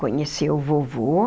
Conheceu o vovô.